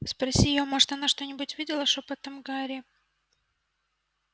спроси её может она что-нибудь видела шёпотом гарри